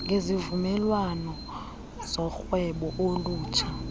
ngezivumelwano zorhwebo olutsha